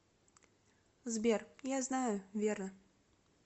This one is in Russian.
сбер я знаю верно